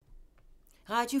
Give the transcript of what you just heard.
Radio 4